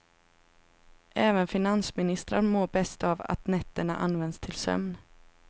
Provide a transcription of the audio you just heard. Även finansministrar mår bäst av att nätterna används till sömn.